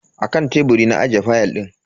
Akan teburi na ajiye fayal din.